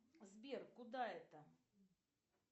сбер куда это